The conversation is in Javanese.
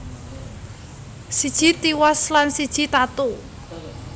Siji tiwas lan siji tatu